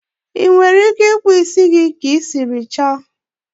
Ị nwere ike ịkpụ ísí gị ka i siri chọ